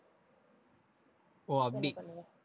ஓ, அப்படி